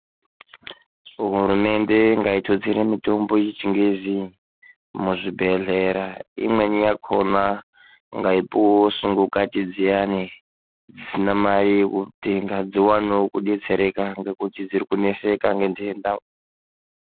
Hurumende ngaitutsire mitombo yechingezi muzvibhedhlera imweni yakhona ngaipuwewo sungukati dziyani dzisina mare yekutenga dziwanewo kudetsereka ngekuti dziri kuneseka ngendenda.